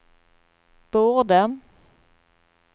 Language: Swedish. borde